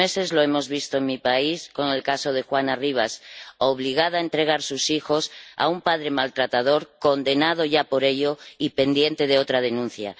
Lo hemos visto en mi país estos meses con el caso de Juana Rivas, obligada a entregar a sus hijos a un padre maltratador, condenado ya por ello y pendiente de otra denuncia.